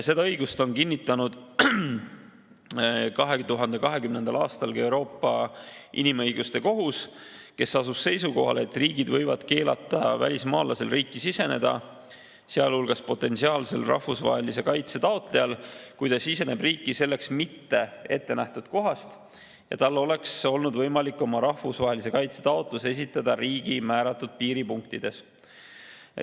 Seda õigust on kinnitanud 2020. aastal ka Euroopa Inimõiguste Kohus, kes asus seisukohale, et riigid võivad keelata välismaalasel riiki siseneda, sealhulgas potentsiaalsel rahvusvahelise kaitse taotlejal, kui ta siseneb riiki selleks mitte ette nähtud kohas ja tal oleks olnud võimalik oma rahvusvahelise kaitse taotlus esitada riigi määratud piiripunktides.